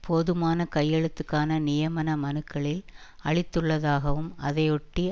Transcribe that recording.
போதுமான கையெழுத்துக்கான நியமன மனுக்களில் அளித்துள்ளதாகவும் அதையொட்டி